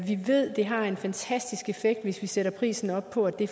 det har en fantastisk effekt hvis vi sætter prisen op fordi